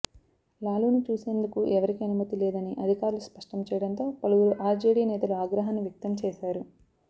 లాలూను చూసేందుకు ఎవరికీ అనుమతి లేదని అధికారులు స్పష్టం చేయడంతో పలువురు ఆర్జేడీ నేతలు ఆగ్రహాన్ని వ్యక్తం చేశారు